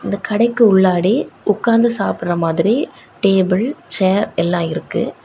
இந்த கடைக்கு உள்ளாடி உக்காந்து சாப்டுற மாதிரி டேபிள் சேர் எல்லா இருக்கு.